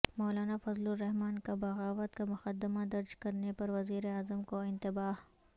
مولانا فضل الرحمان کا بغاوت کا مقدمہ درج کرنے پر وزیراعظم کو انتباہ